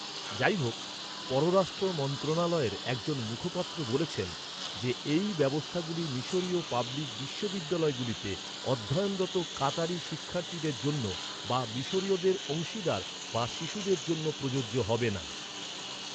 যাইহোক, পররাষ্ট্র মন্ত্রণালয়ের একজন মুখপাত্র বলেছেন যে এই ব্যবস্থাগুলি মিশরীয় পাবলিক বিশ্ববিদ্যালয়গুলিতে অধ্যয়নরত কাতারি শিক্ষার্থীদের জন্য বা মিশরীয়দের অংশীদার বা শিশুদের জন্য প্রযোজ্য হবে না।